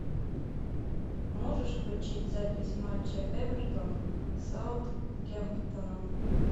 можешь включить запись матча эвертон с саутгемптоном